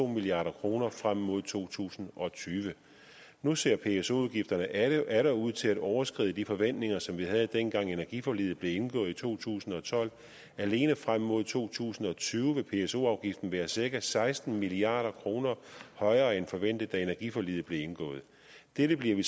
milliard kroner frem mod to tusind og tyve nu ser pso afgifterne atter ud til at overskride de forventninger som vi havde dengang energiforliget blev indgået i to tusind og tolv alene frem mod to tusind og tyve vil pso afgiften være cirka seksten milliard kroner højere end forventet da energiforliget blev indgået dette bliver vi